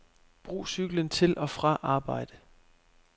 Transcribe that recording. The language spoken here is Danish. Brug cyklen til og fra arbejde.